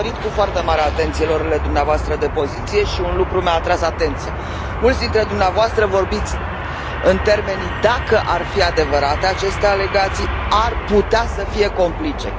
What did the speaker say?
Am urmărit cu foarte mare atenție luările dumneavoastră de poziție și un lucru mi a atras atenția mulți dintre dumneavoastră vorbiți în termenii dacă ar fi adevărate acestea alegații, ar putea să fie complice.